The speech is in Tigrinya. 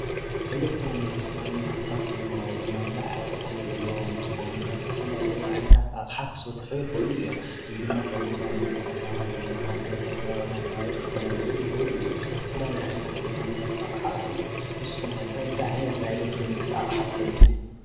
ኤሌክትሮኒክስ ኣብ ምንቅስቓስ መነባብሮና ዝለዓለ ጥቕሚ ዘለዎም እንትኾኑ ካብ ዝተፈላለዩ ዓይነታት ኣቕሓ ክስርሑ ይኽእሉ እዮም ።እዚ ድማ ካብ ቦታ ናብ ቦታ ካብ ሃገር ናብ ሃገር ካብ ከባቢ ናብ ከባቢ ክፈላለዩ ይኽእሉ እዮም። ዝተፈላለዩ ናይ ኤሌክትሮኒክስ ኣቕሓ ኣለዉ። ንስኻትኩም ከ እንታይ እንታይ ዓይነት ኤሌክትሮኒክስ ኣቕሓ ትፈልጡ?